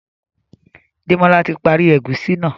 Demola tí parí egusi náa